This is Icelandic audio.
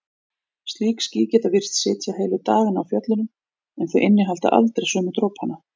Slík ský geta virst sitja heilu dagana á fjöllunum en þau innihalda aldrei sömu dropana.